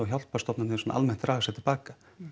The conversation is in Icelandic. hjálparstofnanir almennt draga sig til baka